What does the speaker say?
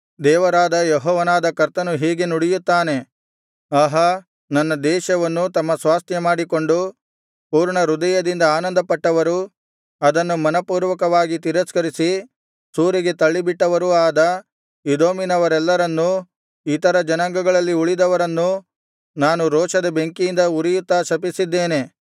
ದೇವರಾದ ಯೆಹೋವನಾದ ಕರ್ತನು ಹೀಗೆ ನುಡಿಯುತ್ತಾನೆ ಆಹಾ ನನ್ನ ದೇಶವನ್ನು ತಮ್ಮ ಸ್ವಾಸ್ತ್ಯಮಾಡಿಕೊಂಡು ಪೂರ್ಣಹೃದಯದಿಂದ ಆನಂದಪಟ್ಟವರೂ ಅದನ್ನು ಮನಃಪೂರ್ವಕವಾಗಿ ತಿರಸ್ಕರಿಸಿ ಸೂರೆಗೆ ತಳ್ಳಿಬಿಟ್ಟವರೂ ಆದ ಎದೋಮಿನವರೆಲ್ಲರನ್ನೂ ಇತರ ಜನಾಂಗಗಳಲ್ಲಿ ಉಳಿದವರನ್ನೂ ನಾನು ರೋಷದ ಬೆಂಕಿಯಿಂದ ಉರಿಯುತ್ತಾ ಶಪಿಸಿದ್ದೇನೆ